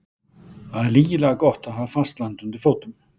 Það er lygilega gott að hafa fast land undir fótum.